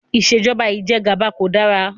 Ìṣèjọba Ìjẹgàba kò dára